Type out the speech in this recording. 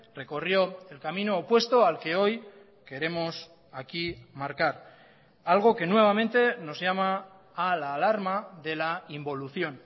recorrió el camino opuesto al que hoy queremos aquí marcar algo que nuevamente nos llama a la alarma de la involución